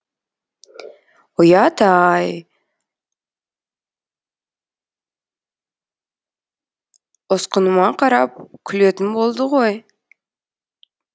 ұят ай ұсқыныма қарап күлетін болды ғой